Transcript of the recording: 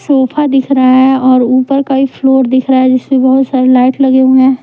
Sofa दिख रहा है और ऊपर का ही फ्लोर दिख रहा है जिस पे बहुत सारे लाइट लगे हुए हैं ।